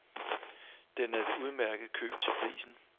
Den er et udmærket køb til prisen.